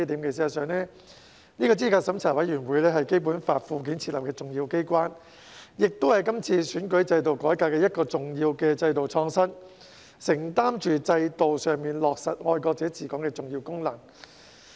事實上，資審會是《基本法》附件設立的重要機關，也是今次選舉制度改革的一項重要的制度創新，承擔着在制度上落實"愛國者治港"的重要功能。